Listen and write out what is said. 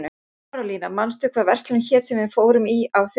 Marólína, manstu hvað verslunin hét sem við fórum í á þriðjudaginn?